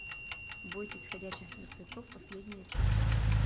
бойтесь ходячих мертвецов последняя часть